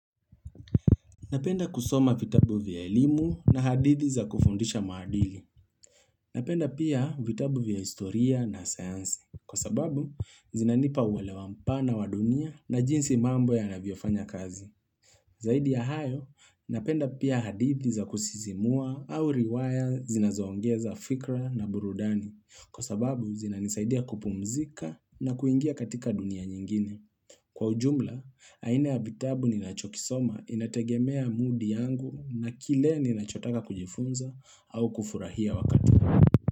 Napenda kusoma vitabu vya elimu na hadithi za kufundisha maadili. Napenda pia, vitabu vya historia na sayansi. Kwa sababu, zinanipa uwelewa mpana wa dunia, na jinsi mambo yanavyofanya kazi. Zaidi ya hayo, napenda pia hadithi za kusizimua au riwaya zinazoongeza fikra na burudani. Kwa sababu, zinanisaidia kupumzika na kuingia katika dunia nyingine. Kwa ujumla, aina ya vitabu ninachokisoma inategemea mood yangu, na kile ninachotaka kujifunza au kufurahia wakati.